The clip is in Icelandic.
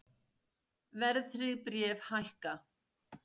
Verðtryggð bréf hækka